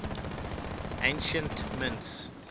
ancient mints